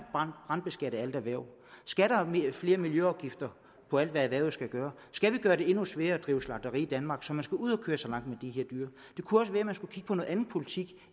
brandbeskatte alle erhverv skal der flere miljøafgifter på alt hvad erhvervet skal gøre skal vi gøre det endnu sværere at drive slagteri i danmark så man skal ud at køre så langt med de her dyr det kunne også være at man skulle kigge på noget andet politik